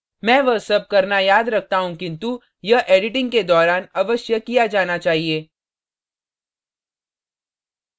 मैं वह सब करना याद रखता हूँ किन्तु यह editing के दौरान अवश्य किया जाना चाहिए